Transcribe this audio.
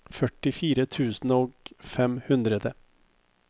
førtifire tusen og fem hundre